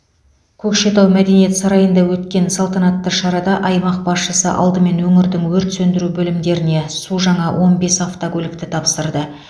көкшетау мәдениет сарайында өткен салтанатты шарада аймақ басшысы алдымен өңірдің өрт сөндіру бөлімдеріне су жаңа он бес автокөлікті тапсырды